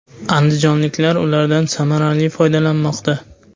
Andijonliklar ulardan samarali foydalanmoqda.